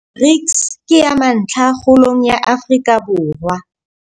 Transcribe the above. BRICS ke ya mantlha kgolong ya Afrika Borwa.